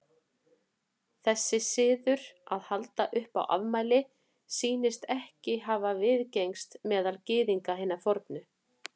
Þessi siður að halda upp á afmæli sýnist ekki hafa viðgengist meðal Gyðinga hinna fornu.